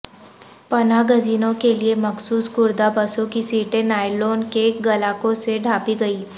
پناہ گزینوں کے لئے مخصوص کردہ بسوں کی سیٹیں نائلون کے غلاقوں سے ڈھانپی گئیں